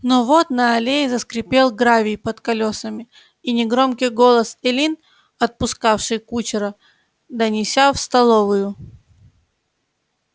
но вот на аллее заскрипел гравий под колёсами и негромкий голос эллин отпускавшей кучера донеся в столовую